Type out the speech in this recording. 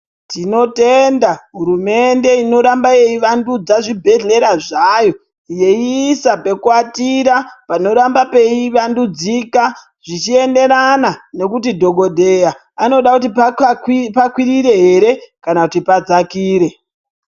Tinotenda hurumende inoramba yeivandudza zvibhehlera zvayo yeiisa pekuatira panoramba peivandudzika zvichienderana nekuti dhokodheya anoda kuti pakwirire here kana kuti padzakire.